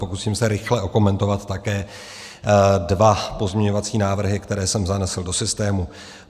Pokusím se rychle okomentovat také dva pozměňovací návrhy, které jsem zanesl do systému.